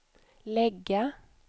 lägga